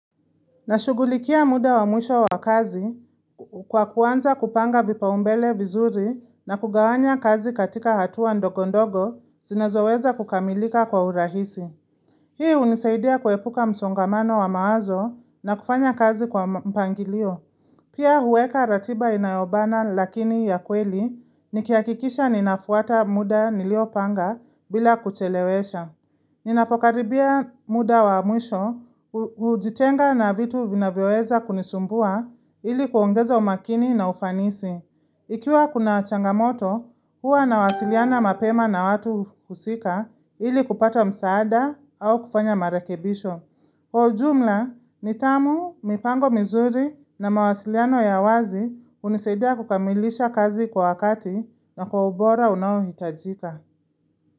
Nashugulikia muda wa mwisho wa kazi kwa kuanza kupanga vipaumbele vizuri na kugawanya kazi katika hatua ndogo ndogo zinezoweza kukamilika kwa urahisi. Hii hunisaidia kuepuka msongamano wa mawazo na kufanya kazi kwa mpangilio. Pia huweka ratiba inayobana lakini ya kweli nikihakikisha ninafuata muda nilio panga bila kuchelewesha. Ninapokaribia muda wa mwisho hujitenga na vitu vinavyoweza kunisumbua ili kuongeza umakini na ufanisi. Ikiwa kuna changamoto, huwa na wasiliana mapema na watu kusika ili kupata msaada au kufanya marekebisho. Kwa ujumla, nithamu, mipango mizuri na mawasiliano ya wazi hunisaidia kukamilisha kazi kwa wakati na kwa ubora unao hitajika.